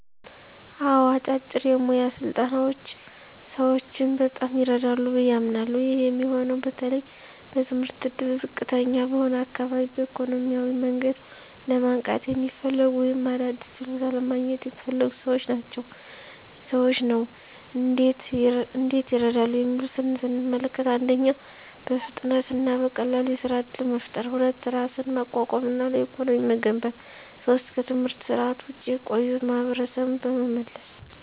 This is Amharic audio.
አዎ፣ አጫጭር የሞያ ስልጠናዎች ሰዎችን በጣም ይረዳሉ ብዬ አምናለሀ። ይህ የሚሆነው በተለይ በትምህርት እድል ዝቅተኛ በሆነ አካባቢ፣ በኢኮኖሚያዊ መንገድ ለማንቃት የሚፈልጉ፣ ወይም አዲስ ችሎታ ለማግኘት የሚፈልጉ ሰዎችን ነው። እንዴት ይረዳሉ የሚሉትን ስንመለከት፦ 1. በፍጥነት እና በቀላሉ የሥራ እድል መፍጠር 2. ራስን ማቋቋም እና ለኢኮኖሚ መገንባት 3. ከትምህርት ስርዓት ውጭ የቆዩ ማሀበረሰብን በመመለስ።